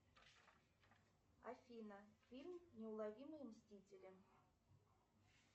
афина фильм неуловимые мстители